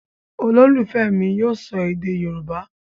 Ololufẹ mi yíò sọ èdè yorúbá.